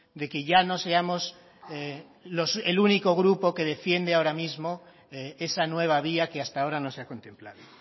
de que ya no seamos el único grupo que defiende ahora mismo esa nueva vía que hasta ahora no se ha contemplado